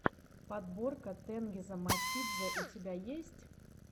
подборка тенгиза мосидзе у тебя есть